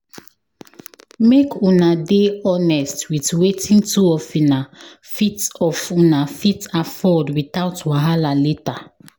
Make una dey honsest with wetin two of una fit of una fit afford without wahala later